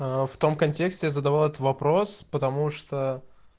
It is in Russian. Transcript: в том контексте задавал этот вопрос потому что